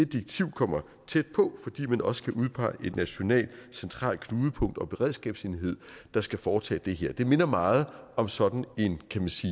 direktiv kommer tæt på fordi man også skal udpege et nationalt centralt knudepunkt en beredskabsenhed der skal foretage det her det minder meget om sådan en